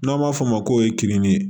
N'an b'a f'o ma ko ye kenige